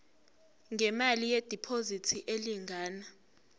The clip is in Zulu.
ngemali yediphozithi elingana